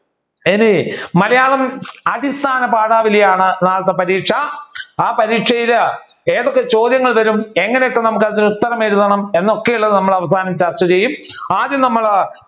ഇനി മലയാളം അടിസ്ഥാന പാഠവലിയാണ് നാളത്തെ പരീക്ഷ ആ പരീക്ഷയിൽ എന്തൊക്കെ ചോദ്യങ്ങൾ വരും എങ്ങനെയൊക്കെ അതിൽ ഉത്തരം എഴുതാം എന്നൊക്കെ നമ്മൾ അവസാനം ചർച്ച ചെയ്യും. ആദ്യം നമ്മൾ